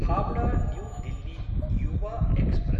Howrah new Delhi Yuva express